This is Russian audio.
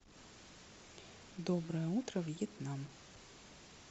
доброе утро вьетнам